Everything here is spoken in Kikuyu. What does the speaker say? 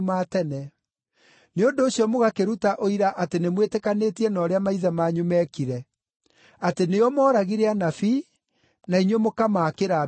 Nĩ ũndũ ũcio mũgakĩruta ũira atĩ nĩmwĩtĩkanĩtie na ũrĩa maithe manyu meekire; atĩ nĩo mooragire anabii, na inyuĩ mũkamaakĩra mbĩrĩra.